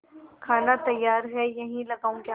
खाना तैयार है यहीं लगाऊँ क्या